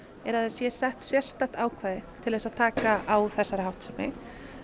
er að það sé sett sérstakt ákvæði til þess að taka á þessari háttsemi